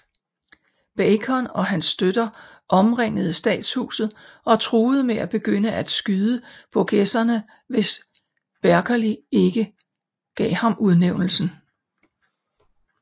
Bacon og hans støtter omringede statshuset og truet med at begynde at skyde Burgesserne hvis Berkeley ikke gav ham udnævnelsen